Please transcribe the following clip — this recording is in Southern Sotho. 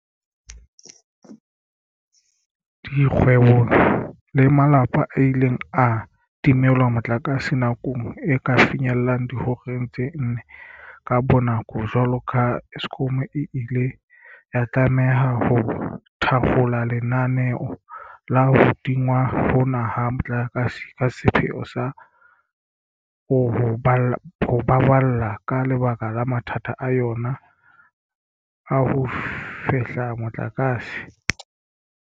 Dikgwebo le malapa a ile a timelwa motlakase nako e ka finyellang dihoreng tse nne ka bonako jwalo ka ha Eskom e ile ya tlameha ho thakgola lenaneo la ho tingwa hona ha motlakase ka sepheo sa o ho baballa ka lebaka la mathata a yona a ho fehla motlakase.